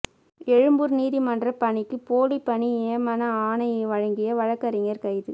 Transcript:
எழும்பூர் நீதிமன்ற பணிக்கு போலி பணி நியமன ஆணை வழங்கிய வழக்கறிஞர் கைது